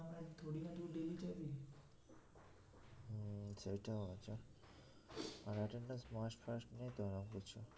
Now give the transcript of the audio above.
হুম সেইটাও আছে আর attendance must ফাস্ট নেই তো ওরম কিছু